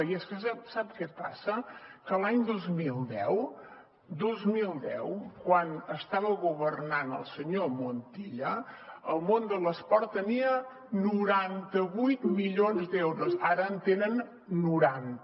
i és que sap què passa que l’any dos mil deu dos mil deu quan estava governant el senyor montilla el món de l’esport tenia noranta vuit milions d’euros ara en tenen noranta